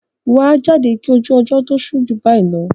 wà á jáde kí ojú ọjọ́ tó ṣú jù bayi lọ!